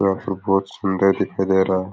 यहां पर बहुत सुन्दर दिखाई दे रहा है।